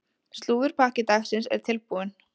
Slúðurpakki dagsins er tilbúinn.